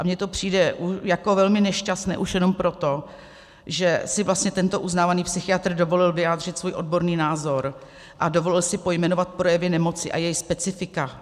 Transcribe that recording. A mně to přijde jako velmi nešťastné už jenom proto, že si vlastně tento uznávaný psychiatr dovolil vyjádřit svůj odborný názor a dovolil si pojmenovat projevy nemoci a její specifika.